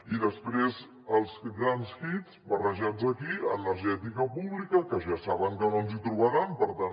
i després els grans hits barrejats aquí energètica pública que ja saben que no ens hi trobaran per tant